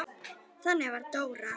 Þannig var Dóra.